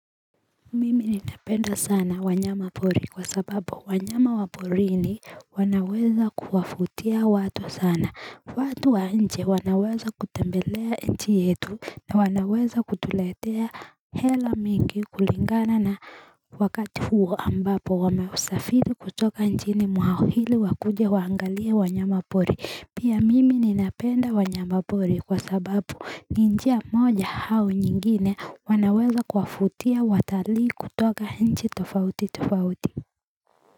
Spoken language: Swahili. Mimi ninapenda sana wanyama pori kwa sababu wanyama wa porini wanaweza kuwafutia watu sana watu wa nje wanaweza kutembelea enchi yetu na wanaweza kutuletea hela mingi kulingana na wakati huo ambapo wameusafidi kutoka nchini mwao hili wakuje waangalie wanyama pori Pia mimi ninapenda wanyama pori kwa sababu ni njia moja hau nyingine wanaweza kwafutia watalii kutoka inchi tofauti tofauti.